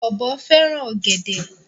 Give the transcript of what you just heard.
Ọ̀bọ fẹ́ràn ọ̀gẹ̀dè.